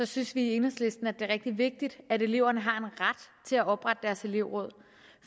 synes vi i enhedslisten at det er rigtig vigtigt at eleverne har en ret til at oprette elevråd